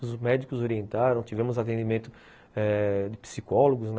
Os médicos orientaram, tivemos atendimento eh de psicólogos.